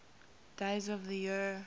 days of the year